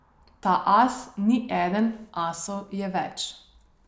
Ta as ni eden, asov je več.